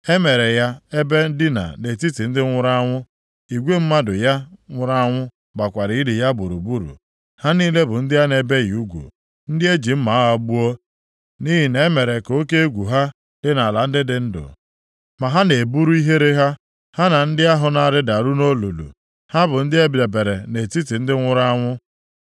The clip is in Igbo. E meere ya ebe ndina nʼetiti ndị nwụrụ anwụ. Igwe mmadụ ya nwụrụ anwụ gbakwara ili ya gburugburu. Ha niile bụ ndị a na-ebighị ugwu, ndị e ji mma agha gbuo, nʼihi na-emere ka oke egwu ha dị nʼala ndị dị ndụ, ma ha na-eburu ihere ha, ha na ndị ahụ na-arịdaru nʼolulu. Ha bụ ndị e debere nʼetiti ndị nwụrụ anwụ.